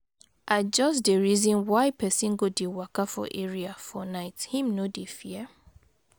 I just dey reason why pesin go dey waka for area for night, him no dey fear?